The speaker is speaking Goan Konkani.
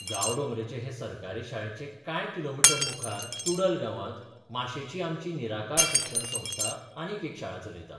गांवडोंगरेचे हे सरकारी शाळेचे कांय किलोमीटर मुखार तुडल गांवांत माशेंची आमची निराकार शिक्षण संस्था आनीक एक शाळा चलयता.